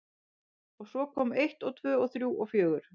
Og svo kom eitt og tvö og þrjú og fjögur.